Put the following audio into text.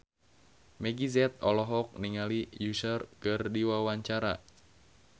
Meggie Z olohok ningali Usher keur diwawancara